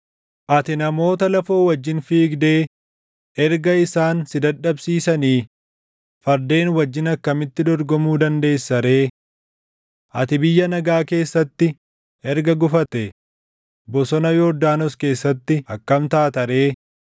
“Ati namoota lafoo wajjin fiigdee erga isaan si dadhabsiisanii, fardeen wajjin akkamitti dorgomuu dandeessa ree? Ati biyya nagaa keessatti erga gufatte, bosona Yordaanos keessatti akkam taata ree?